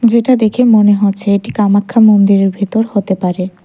যেটা দেখে মনে হচ্ছে এটি কামাক্ষা মন্দিরের ভেতর হতে পারে।